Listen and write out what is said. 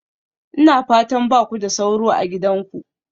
Ina fatan ba ku da sauro a gidanku?